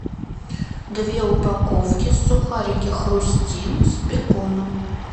две упаковки сухарики хрустим с беконом